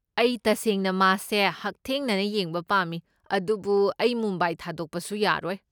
ꯑꯩ ꯇꯁꯦꯡꯅ ꯃꯥꯁꯦ ꯍꯛꯊꯦꯡꯅꯅ ꯌꯦꯡꯕ ꯄꯥꯝꯃꯤ, ꯑꯗꯨꯕꯨ ꯑꯩ ꯃꯨꯝꯕꯥꯏ ꯊꯥꯗꯣꯛꯄꯁꯨ ꯌꯥꯔꯣꯏ꯫